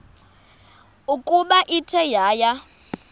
ukuba ithe yaya